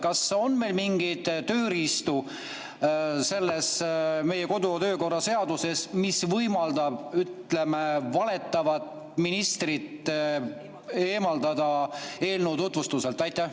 Kas on meil mingeid tööriistu meie kodu‑ ja töökorra seaduses, mis võimaldaks, ütleme, valetavat ministrit eemaldada eelnõu tutvustuselt?